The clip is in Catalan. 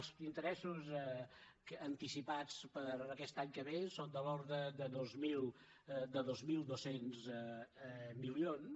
els interessos anticipats per a aquest any que ve són de l’ordre de dos mil dos cents milions